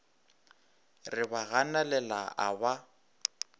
re ba ganelela a ba